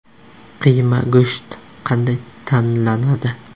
Qiyma go‘sht qanday tanlanadi?